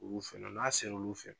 Olu fɛnɛ n'a seru olu fɛ